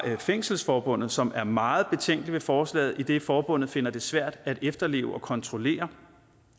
fængselsforbundet som også er meget betænkelig ved forslaget idet forbundet finder at det bliver svært at efterleve og kontrollere